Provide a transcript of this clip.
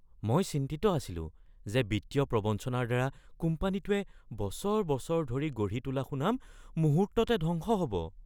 মই চিন্তিত আছিলোঁ যে বিত্তীয় প্ৰৱঞ্চনাৰ দ্বাৰা কোম্পানীটোৱে বছৰ বছৰ ধৰি গঢ়ি তোলা সুনাম মুহূৰ্ততে ধ্বংস হ'ব।